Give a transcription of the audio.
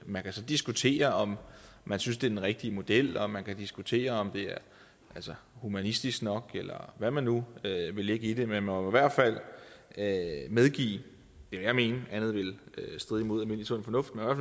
man kan så diskutere om man synes det er den rigtige model og man kan diskutere om det er humanistisk nok eller hvad man nu vil lægge i det men man må i hvert fald medgive vil jeg mene andet ville stride imod almindelig sund fornuft at